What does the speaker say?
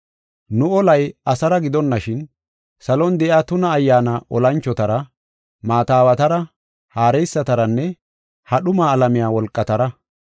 Nu olay asara gidonashin, salon de7iya tuna ayyaana olanchotara, maata aawatara, haareysataranne ha dhuma alamiya wolqatara.